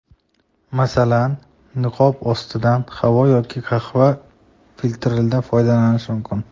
Masalan, niqob ostidan havo yoki qahva filtridan foydalanish mumkin.